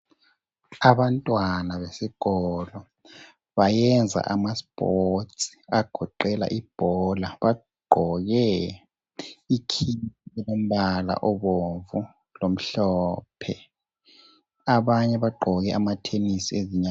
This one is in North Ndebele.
Abantwana besikolo bayenza imidlalo egoqela ibhola, bagqoke ikhithi elombala obomvu lomhlophe .Abanye bagqoke amathenisi ezinyaweni.